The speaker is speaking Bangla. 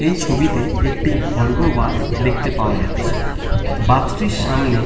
এই ছবিতে একটি ভলভো বাস দেখতে পাওয়া যাচ্ছে। বাস -টির সামনে--